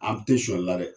An tɛ sɔn i la dɛ